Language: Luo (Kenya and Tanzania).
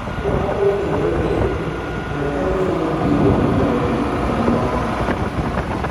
Ka joma dwa kendore ng'ere, ber ka gifulo gigo ma morogi kod ma ok morgi.